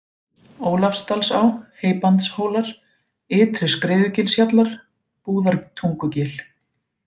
Ólafsdalsá, Heybandshólar, Ytri-Skriðugilshjallar, Búðartungugil